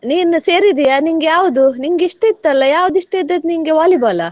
ನೀನ್ ಸೇರಿದ್ದೀಯಾ? ನಿಂಗೆ ಯಾವುದು? ನಿಂಗೆ ಇಷ್ಟ ಇತ್ ಅಲಾ, ಯಾವ್ದ್ ಇಷ್ಟ ಇದ್ದದ್ ನಿಂಗೆ Volleyball ಆ?